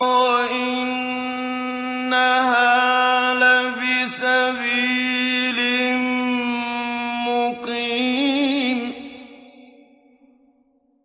وَإِنَّهَا لَبِسَبِيلٍ مُّقِيمٍ